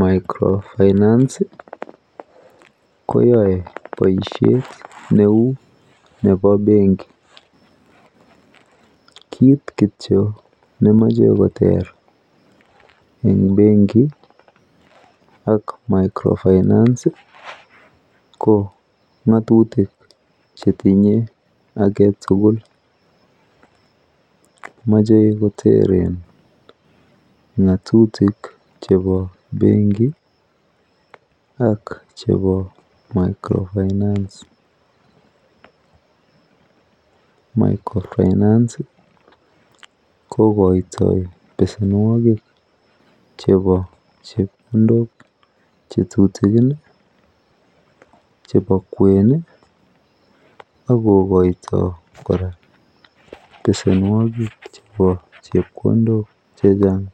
Micro finance koyae boisyet neu nebo benkit, kit kityo nemache koter eng benki ak micro finance ko ngatutik chetinye aketukul, mache koteren ngatutik chebo benki ak chebo micro finance, micro finance ko koito besenwakik chebo chepkondok chetutikin, chebo kwen akokoito koraa besenwakik chebo chepkondok chechang,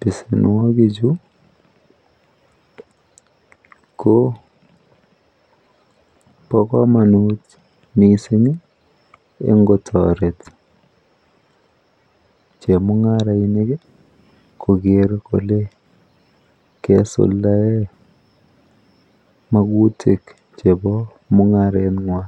besenwakik chu ko bo kamanut mising eng kotoret chemungarainik koger kole kaisuldae makutik chebo mungarengwa.